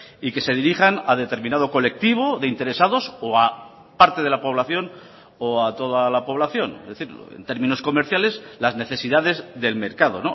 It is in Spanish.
y que se dirijan a determinado colectivo de interesados o a parte de la población o a toda la población es decir en términos comerciales las necesidades del mercado